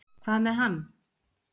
Hvað með hann?